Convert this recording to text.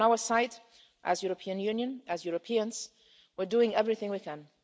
On our side, as the European Union, as Europeans, we're doing everything we can.